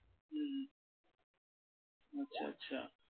আচ্ছা আচ্ছা ।